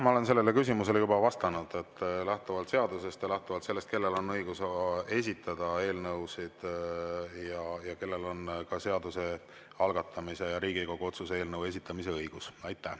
Ma olen sellele küsimusele juba vastanud lähtuvalt seadusest ja lähtuvalt sellest, kellel on õigus esitada eelnõusid ja kellel on seaduse algatamise ja Riigikogu otsuse eelnõu esitamise õigus.